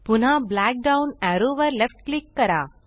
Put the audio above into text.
पुन्हा black down arrow वर left click करा